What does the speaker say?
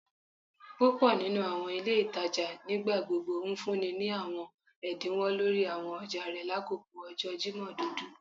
Púpò nínú àwọn ilé ìtajà nigbagbogbo ńfúnni ní àwọn ẹdínwó lórí àwọn ọjà rẹ lakoko ọjọ Jimọ dudu